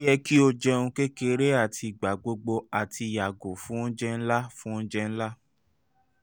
o yẹ ki o jẹun kekere ati igbagbogbo ati yago fun ounjẹ nla fun ounjẹ nla